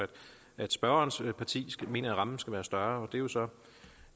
at spørgerens parti mener at rammen skal være større det er jo så